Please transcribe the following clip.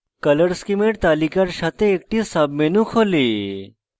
color schemes তালিকার সাথে একটি সাব menu খোলে